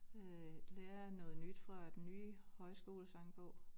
Øh lærer noget nyt fra den nye højskolesangbog